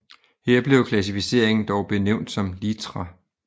Her blev klassificeringen dog benævnt som litra